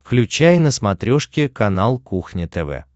включай на смотрешке канал кухня тв